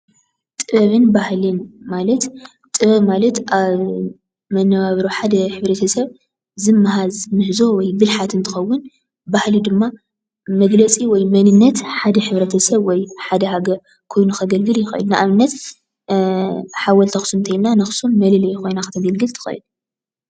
ጥበብን በህልን ማለት ጥበብ ማለት ኣብ መናባብሮ ሓደ ሕ/ሰብ ዝማሃዝ ሙሁዞ ወይ ድማ ብልሓት እንትኸውን ባህሊ ድማ መግለፅ ወይ መንነት ሓደ ሕ/ሰብ ወይ ሓደ ሃገር ኮይኑ ከግልግል ይኽእል። ንኣብነት ሓወልቲ ኣክሱም እንተይልና ንኣክሱም መለለይት ኾይና ከተገልግል ትኽእል።